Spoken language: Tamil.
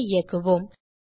programஐ இயக்குவோம்